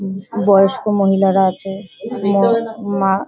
উম বয়স্ক মহিলারা আছে মও মা।